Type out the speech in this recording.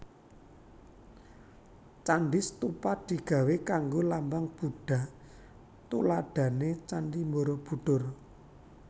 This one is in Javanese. Candi stupa digawé kanggo lambang Budha tuladhané Candhi Borobudur